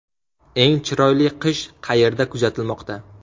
Eng chiroyli qish qayerda kuzatilmoqda?